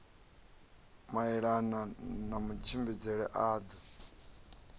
maelana na matshimbidzele a ḓo